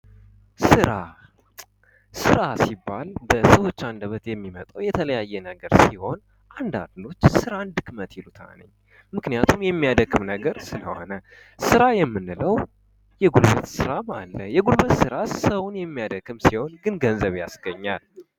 ስራ:- ስራ ሲባል በሰዎች አንደበት የሚመጣዉ የተለያየ ነገር ሲሆን አንዳንዶች ስራን ድክመት ይሉታል። ምክንያቱም የሚያደክም ስለሆነ። ስራ የምንለዉ የጉልበት ስራም አለ። የጉልበት ስራ የሚያደክም ሲሆን ግን ገንዘብ ያስገኛል።